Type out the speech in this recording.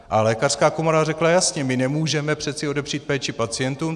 A lékařská komora řekla jasně: my nemůžeme přece odepřít péči pacientům.